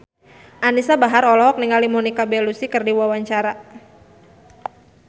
Anisa Bahar olohok ningali Monica Belluci keur diwawancara